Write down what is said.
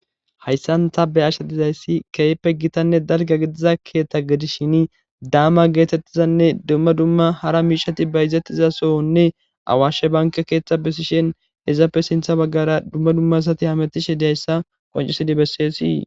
hayssan ta be ashe dizayssi keppe gitanne dalga gidiza keeththa gedi shini daama geetettizanne dumma dumma hara miishati ba izettiza sohonne awaashshe banka keeththa besishen izappe sintha baggara dumma dummasati hametishe dayssa qoncisidi besseesii